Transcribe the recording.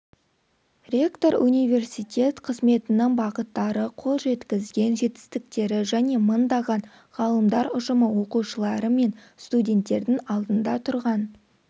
ректор университет қызметінің бағыттары қол жеткізген жетістіктері және мыңдаған ғалымдар ұжымы оқытушылары мен студенттердің алдында тұрған